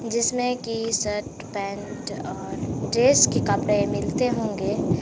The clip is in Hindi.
जिसमें की शर्ट पैंट और ड्रेस के कपड़े मिलते होंगे।